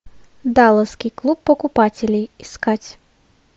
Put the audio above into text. далласский клуб покупателей искать